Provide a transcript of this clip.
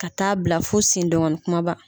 Ka taa bila fo sen dengɔni kumaba.